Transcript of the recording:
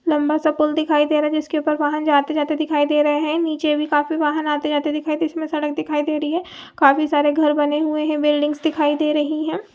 लम्बा सा पूल दिखाई दे रहा है जिसके ऊपर वाहन जाते जाते दिखाई दे रहे हैं नीचे काफी वाहन आते जाते दिखाई दे रहे है तो इसमें सड़क दिखाई दे रही है काफी सारे घर बने हुए हैं बिल्डिंग्स दिखाई दे रही है।